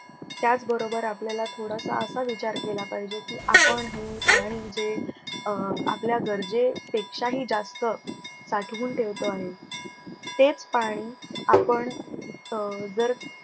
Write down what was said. त्याच बरोबर आपल्याला थोडासा असा विचार केला पाहिजे की, आपण हे पाणी जे अं आपल्या गर्जे पेक्षाही जास्त साठवून ठेवतो आहे. तेच पाणी आपण अं जर